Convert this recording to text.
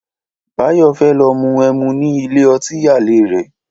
Báyọ̀ fẹ́ lọ mu ẹmu ní ilé ọtí àlè rẹ̀